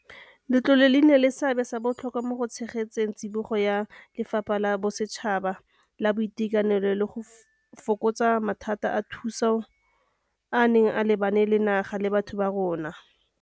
Letlole le nnile le seabe sa botlhokwa mo go tshegetseng tsibogo ya lefapha la bosetšhaba la boitekanelo le go fokotsa mathata a thuso a a neng a lebane naga le batho ba rona.